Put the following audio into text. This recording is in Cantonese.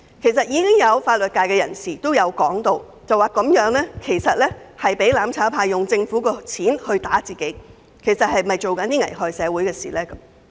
其實，已有法律界人士指出這等於容讓"攬炒派"利用政府的資源對付政府自己，並質疑此舉是否危害社會。